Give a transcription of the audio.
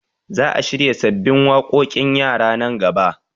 Za a shirya sabbin waƙoƙin yara nan gaba